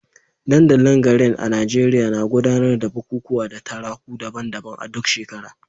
Dandalin garin a Najeriya na gudanar da bukukuwa da taruka daban-daban a duk shekara.